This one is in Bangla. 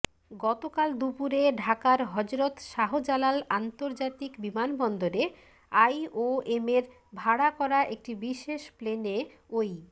গতকাল দুপুরে ঢাকার হযরত শাহজালাল আন্তর্জাতিক বিমানবন্দরে আইওএমের ভাড়া করা একটি বিশেষ প্লেনে ওই